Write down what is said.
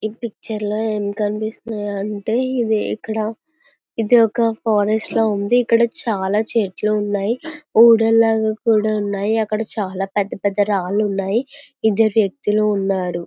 ఈ పిక్చర్ లో ఏం కనిపిస్తుంది అంటే ఇది ఇక్కడ ఇది ఒక ఫారెస్ట్ లా ఇక్కడ చాలా చెట్లు ఉన్నాయి. ఊడల్లాగా ఉన్నాయి. అక్కడ పెద్ద పెద్ద రాళ్ళు ఉన్నాయి.ఇద్దరు వ్యక్తులు ఉన్నారు.